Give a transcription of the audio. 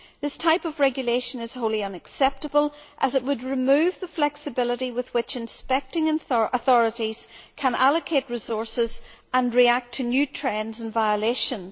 This type of regulation is wholly unacceptable, as it would remove the flexibility with which inspecting authorities can allocate resources and react to new trends and violations.